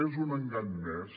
és un engany més